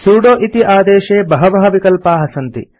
sudo इति आदेशे बहवः विकल्पाः सन्ति